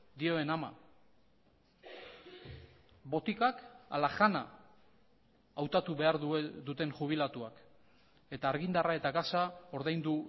dioen ama botikak ala jana hautatu behar duten jubilatuak eta argindarra eta gasa ordaindu